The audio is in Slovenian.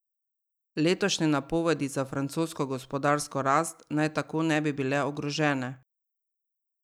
Letošnje napovedi za francosko gospodarsko rast naj tako ne bi bile ogrožene.